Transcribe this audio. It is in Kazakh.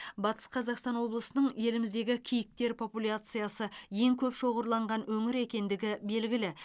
батыс қазақстан облысының еліміздегі киіктер популяциясы ең көп шоғырланған өңір екендігі белгілі